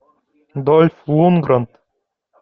дольф лундгрен